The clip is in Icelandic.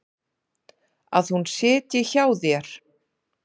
Að hún sitji hjá þér?